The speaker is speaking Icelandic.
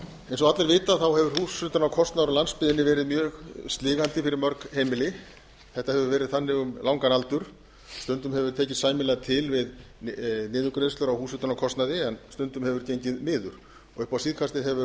eins og allir vita hefur húshitunarkostnaður á landsbyggðinni verið mjög sligandi fyrir mörg heimila þetta hefur verið þannig um langan aldur stundum hefur tekist sæmilega til við niðurgreiðslur á húshitunarkostnaði en stundum hefur gengið miður upp á síðkastið hefur